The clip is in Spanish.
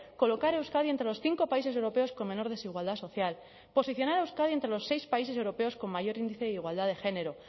colocar a euskadi entre los cinco países europeos con menor desigualdad social posicionar a euskadi entre los seis países europeos con mayor índice de igualdad de género